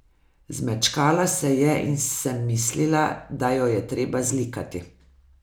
Zmečkala se je in sem mislila, da jo je treba zlikati.